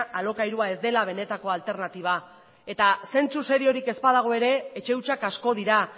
alokairua ez dela benetako alternatiba eta zentzu seriorik ez badago ere etxe hutsak asko dira